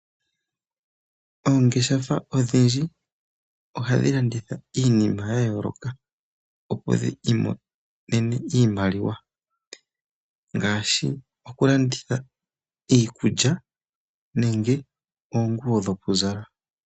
Oongeshefa odhindji ohadhi lanitha iinima ya yooloka, opo dhi imonene iimaliwa ngaashi okulanditha iikulya nenge oonguwo dhokuzala.